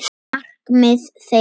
Markmið þeirra.